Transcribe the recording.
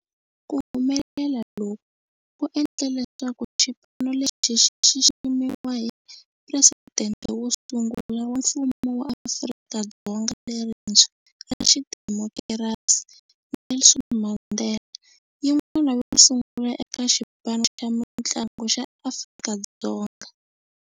Ku humelela loku ku endle leswaku xipano lexi xi xiximiwa hi Presidente wo sungula wa Mfumo wa Afrika-Dzonga lerintshwa ra xidemokirasi, Nelson Mandela, yin'wana yo sungula eka xipano xa mintlangu xa Afrika-Dzonga.